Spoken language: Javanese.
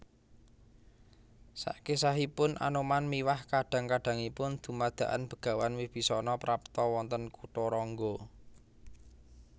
Sakesahipun Anoman miwah kadang kadangipun dumadakan Begawan Wibisana prapta wonten Kutharangga